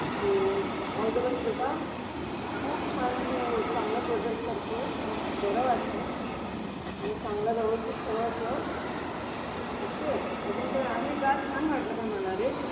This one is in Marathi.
सो, ऑल दि बेस्ट बेटा. खूप छान तू चांगला प्रोजेक्ट करतो आहेस. मला खूप बर वाटत आहे. आणि चांगला व्यवस्थित सगळं कर. ओके. अजून काही आहे का? छान वाटलं पण मला रे.